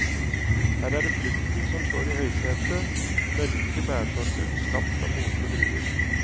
Her er det frukten som står i høysetet, mørke bærsorter skapt av modne druer.